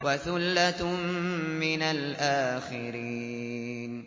وَثُلَّةٌ مِّنَ الْآخِرِينَ